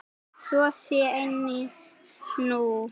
Svo sé einnig nú.